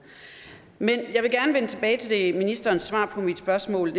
men jeg vil gerne vende tilbage til ministerens svar på mit spørgsmål